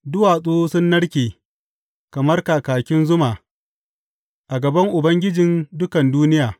Duwatsu sun narke kamar kakin zuma a gaban Ubangiji, a gaban Ubangijin dukan duniya.